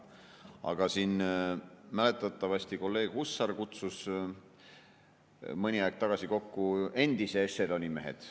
Aga mäletatavasti kolleeg Hussar kutsus mõni aeg tagasi kokku endise ešeloni mehed.